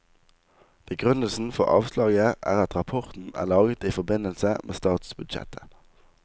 Begrunnelsen for avslaget er at rapporten er laget i forbindelse med statsbudsjettet.